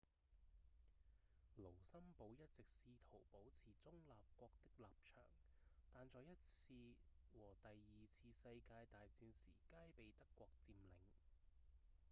盧森堡一直試圖保持中立國的立場但在第一次和第二次世界大戰時皆被德國佔領